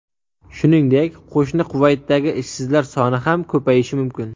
Shuningdek, qo‘shni Kuvaytdagi ishsizlar soni ham ko‘payishi mumkin.